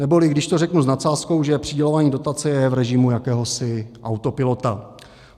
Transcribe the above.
Neboli když to řeknu s nadsázkou, že přidělování dotace je v režimu jakéhosi autopilota.